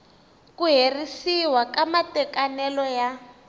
ku herisiwa ka matekanelo ya